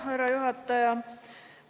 Härra juhataja!